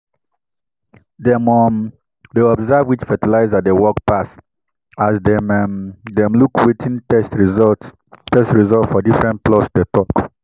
dem um dey observe which fertilizer dey work pass as dem um dem look wetin test result test result for different plots dey tok.